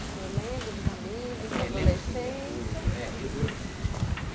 O senhor lembra dos amigos da adolescência? É, lembro sim, o... é eh eu